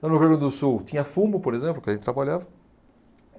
Então no Rio Grande do Sul tinha fumo, por exemplo, que a gente trabalhava.